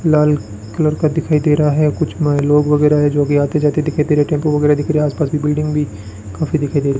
लाल colour का दिखाई दे रहा है कुछ में लोग वगैरह है जो कि आते जाते दिखाई दे रहे टेंपू वगैरह दिख रहे आसपास की बिल्डिंग भी काफी दिखाई दे रही --